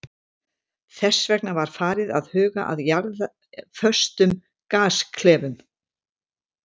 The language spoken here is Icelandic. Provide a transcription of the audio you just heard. Þess vegna var farið að huga að jarðföstum gasklefum.